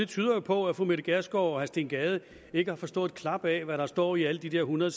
tyder på at fru mette gjerskov og herre steen gade ikke har forstået et klap af hvad der står i alle de der hundrede